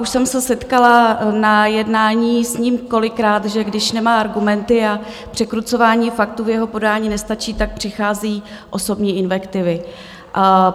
Už jsem se setkala na jednání s ním kolikrát, že když nemá argumenty a překrucování faktů v jeho podání nestačí, tak přicházejí osobní invektivy.